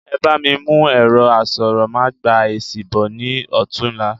Ebá mi mú ẹ̀rọ asọ̀rọ̀ ma gba èsì bọ̀ ní ọ̀túla